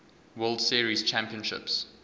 world series championships